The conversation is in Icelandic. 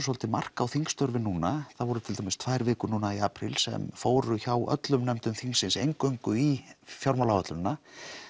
svolítið mark á þingstörfin núna það voru til dæmis tvær vikur núna í apríl sem fóru hjá öllum nefndum þingsins eingöngu í fjármálaáætlunina